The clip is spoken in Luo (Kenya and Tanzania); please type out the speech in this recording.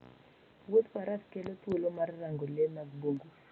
Wuodh faras kelo thuolo mar rango le mag bungu